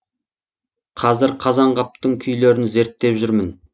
қазір қазанғаптың күйлерін зерттеп жүрмін